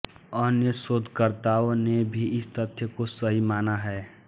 अन्य शोधकर्ताओं ने भी इस तथ्य को सही माना है